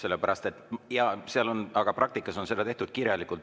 Seal on küll nii, aga praktikas on tehtud kirjalikult.